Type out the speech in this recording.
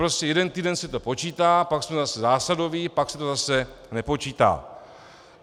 Prostě jeden týden se to počítá, pak jsme zase zásadoví, pak se to zase nepočítá.